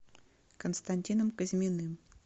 константином казьминым